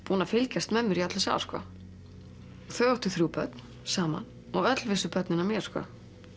búin að fylgjast með mér í öll þessi ár þau áttu þrjú börn saman og öll vissu börnin af mér sko